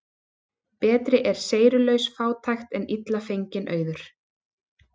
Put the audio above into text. Betri er seyrulaus fátækt en illa fenginn auður.